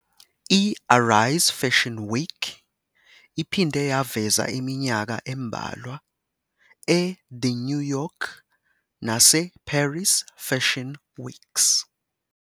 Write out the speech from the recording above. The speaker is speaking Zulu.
I-ARISE Fashion Week iphinde yaveza iminyaka embalwa eThe New York naseParis Fashion Weeks.